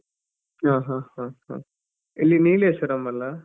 ಹ ಹ ಹ ಹ, ಎಲ್ಲಿ ನೀಲೇಶ್ವರಂ ಅಲ್ಲಾ?